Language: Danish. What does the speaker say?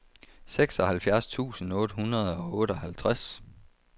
seksoghalvfjerds tusind otte hundrede og otteoghalvtreds